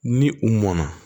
Ni u mɔnna